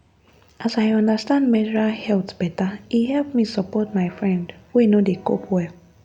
as i understand menstrual health better e help me support my friend wey no dey cope well.